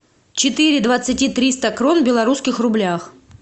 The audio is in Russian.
четыре двадцати триста крон в белорусских рублях